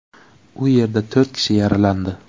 U yerda to‘rt kishi yaralandi.